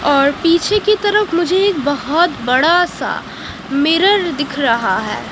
और पीछे की तरफ मुझे एक बहुत बड़ा सा मिरर दिख रहा है।